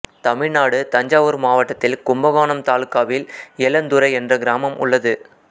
தமிழ்நாடுதஞ்சாவூர் மாவட்டத்தில் கும்பகோணம் தாலுக்காவில் ஏலந்துறை என்ற கிராமம் உள்ளது